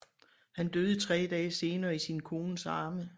Han døde tre dag senere i sin kones arme